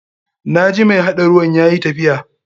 Na ji mai haɗa ruwan yayi tafiya.